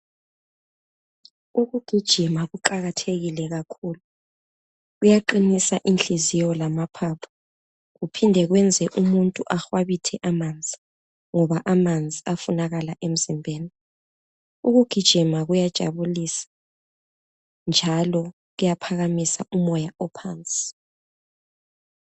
Ukugijima kuqakathekile kakhulu kuyaqinisa inhliziyo lamaphaphu kuphinde kwenze umuntu ahwabithe amanzi ngoba amanzi ayafunakala emzimbeni. Ukugijima kuyajabulisa njalo kuyaphakamisa umoya ophansi.